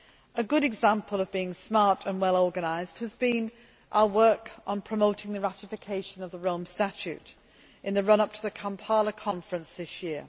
A good example of being smart and well organised has been our work on promoting the ratification of the Rome Statute in the run up to the Kampala conference this year.